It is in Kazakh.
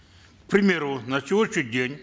к примеру на сегодняшний день